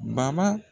Baba